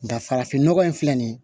Nka farafin nɔgɔ in filɛ nin ye